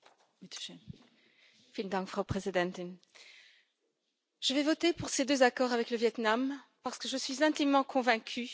Je vais voter pour ces deux accords avec le Viêt Nam, parce que je suis intimement convaincue qu'ils sont une chance tant pour le peuple vietnamien que pour les Européens.